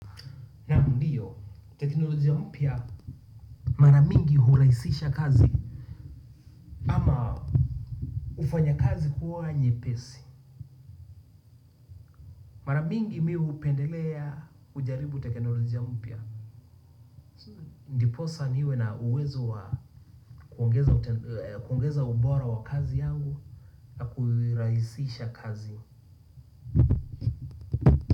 Naam, ndiyo, teknolojia mpya mara mingi hurahisisha kazi ama hufanya kazi kuwa nyepesi mar amingi mi hupendelea kujaribu teknolojia mpya. Ndiposa niwe na uwezo wa kuongeza ubora wa kazi yangu na kuirahisisha kazi.